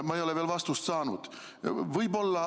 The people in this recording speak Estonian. Ma ei ole veel vastust saanud.